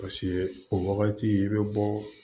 Paseke o wagati i bɛ bɔ